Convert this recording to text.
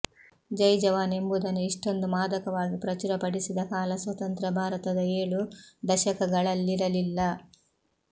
ಜೈ ಜವಾನ್ ಎಂಬುದನ್ನು ಇಷ್ಟೊಂದು ಮಾದಕವಾಗಿ ಪ್ರಚುರಪಡಿಸಿದ ಕಾಲ ಸ್ವತಂತ್ರ ಭಾರತದ ಏಳು ದಶಕಗಳಲ್ಲಿರಲಿಲ್ಲ